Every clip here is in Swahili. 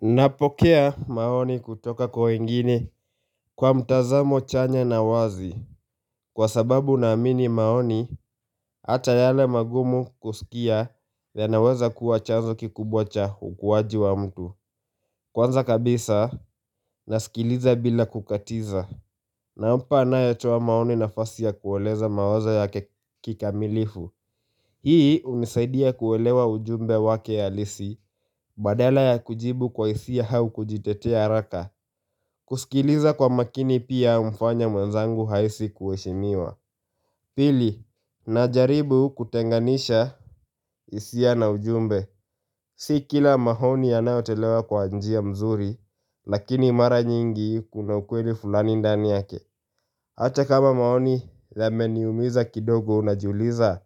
Napokea maoni kutoka kwa wengine kwa mtazamo chanya na wazi Kwa sababu naamini maoni hata yale magumu kusikia yanaweza kuwa chanzo kikubwa cha ukwaji wa mtu Kwanza kabisa nasikiliza bila kukatiza nampa anayetua maoni nafasi ya kuweleza mawazo yake kikamilifu Hii unisaidia kuwelewa ujumbe wake ya halisi badala ya kujibu kwa isiya hau kujitetea haraka kusikiliza kwa makini pia umfanya mwenzangu haisi kueshimiwa Pili, na jaribu kutenganisha isia na ujumbe Si kila mahoni yanaotelewa kwa njia mzuri Lakini mara nyingi kuna ukweli fulani ndani yake Hata kama mahoni lameniumiza kidogo unajuliza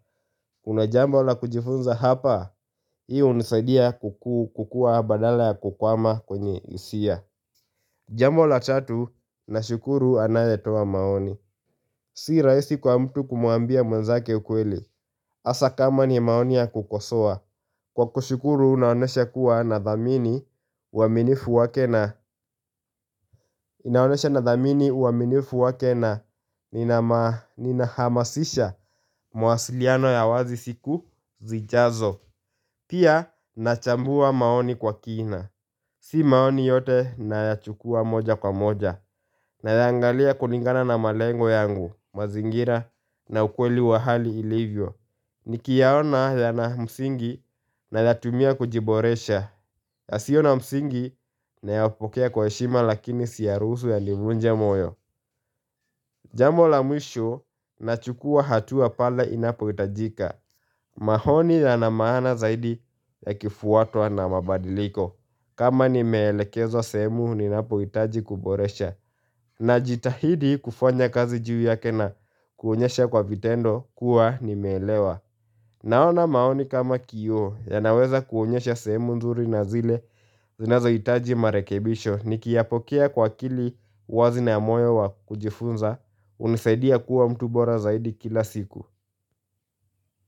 Una jambo la kujifunza hapa Hii unisadia kukua badala kukwama kwenye isia Jambo la tatu na shukuru anayetowa maoni Si raisi kwa mtu kumuambia mwenzake ukweli Asa kama ni maoni ya kukosoa Kwa kushukuru unaonesha kuwa na dhamini uaminifu wake na inaonyesha nadhamini uaminifu wake na Ninahamasisha mwasiliano ya wazi siku zijazo Pia nachambua maoni kwa kina Si maoni yote nayachukua moja kwa moja na ya angalia kulingana na malengo yangu, mazingira na ukweli wa hali ilivyo Nikiyaona yana msingi nayatumia kujiboresha yasiyo na msingi nayapokea kwa heshima lakini siyarusu yanivunje moyo Jambo la mwisho nachukua hatua pale inapoitajika Mahoni yana maana zaidi yakifuatwa na mabadiliko kama nimeelekezo sehemu ninapoitaji kuboresha na jitahidi kufanya kazi juu yake na kuonyesha kwa vitendo kuwa nimelewa Naona maoni kama kiyo yanaweza kuonyesha sehemu nzuri na zile zinazo itaji marekebisho Nikiapokea kwa akili wazi na amoyo wa kujifunza unisaidia kuwa mtu bora zaidi kila siku.